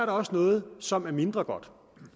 også noget som er mindre godt